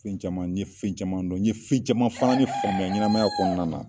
Fɛn caman n ye fɛn caman dɔn n ye fɛn caman fana de famuya ɲɛnamaya kɔnɔna na.